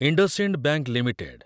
IndusInd bank limited